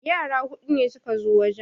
Yara hudu ne suka zo wajen